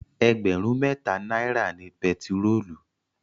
Ẹgbẹ̀rún mẹ́ta náírà ni pẹtirólù.